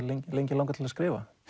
lengi lengi langað til að skrifa